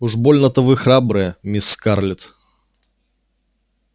уж больно-то вы храбрая мисс скарлетт